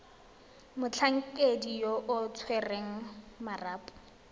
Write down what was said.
motlhankedi yo o tshwereng marapo